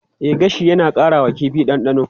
E, gashi yana ƙara wa kifi ɗanɗano.